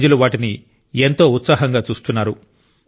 ప్రజలు వాటిని ఎంతో ఉత్సాహంగా చూస్తున్నారు